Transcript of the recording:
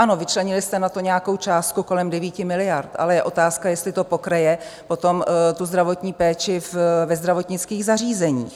Ano, vyčlenili jste na to nějakou částku kolem 9 miliard, ale je otázka, jestli to pokryje potom tu zdravotní péči ve zdravotnických zařízeních.